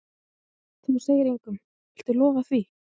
Þú segir engum. viltu lofa því?